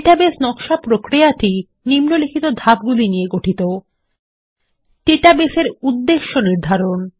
database নকশা প্রক্রিয়াটি নিম্নলিখিত ধাপগুলি নিয়ে গঠিত ডাটাবেসের উদ্দেশ্য নির্ধারণ